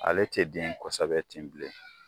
Ale tɛ den kosɛbɛ ten bilen.